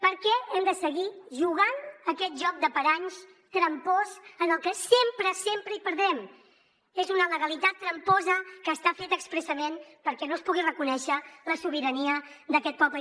per què hem de seguir jugant a aquest joc de paranys trampós en el que sempre sempre hi perdrem és una legalitat tramposa que està feta expressament perquè no es pugui reconèixer la sobirania d’aquest poble